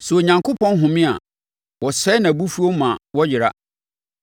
Sɛ Onyankopɔn home a, wɔsɛe; nʼabufuo ma wɔyera.